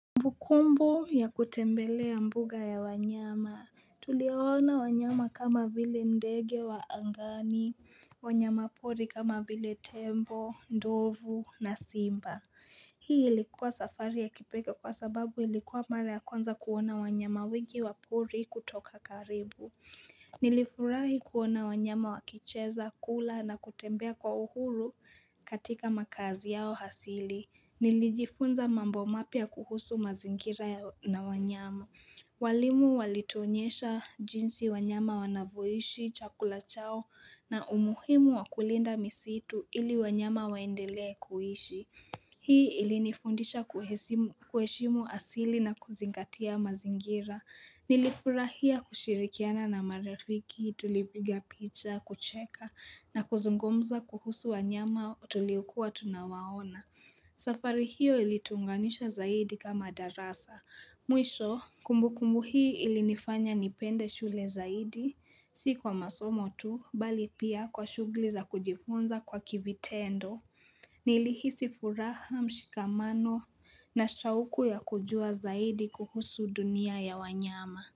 Kumbukumbu ya kutembelea mbuga ya wanyama. Tuliwaona wanyama kama vile ndege wa angani wanyama pori kama vile tembo, ndovu na simba. Hii ilikuwa safari ya kipekee kwa sababu ilikuwa mara ya kwanza kuona wanyama wengi wa pori kutoka karibu. Nilifurahi kuona wanyama wakicheza, kula na kutembea kwa uhuru katika makazi yao hasili. Nilijifunza mambo mapya kuhusu mazingira na wanyama walimu walituonyesha jinsi wanyama wanavyoishi chakula chao na umuhimu wakulinda misitu ili wanyama waendele kuhishi Hii ili nifundisha kueshimu asili na kuzingatia mazingira Nilifurahia kushirikiana na marafiki tulipiga picha kucheka na kuzungumza kuhusu wanyama tuliokua tunawaona safari hiyo ilituunganisha zaidi kama darasa. Mwisho, kumbukumbu hii ilinifanya nipende shule zaidi, si kwa masomo tu, bali pia kwa shughuli za kujifunza kwa kivitendo. Nilihisi furaha mshikamano na shauku ya kujua zaidi kuhusu dunia ya wanyama.